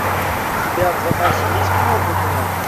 у тебя в запасе есть кино бугимен